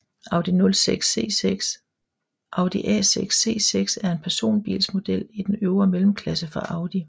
Audi A6 C6 er en personbilsmodel i den øvre mellemklasse fra Audi